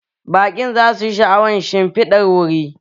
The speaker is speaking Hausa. Baƙin za su ji sha'awan shimfidar wuri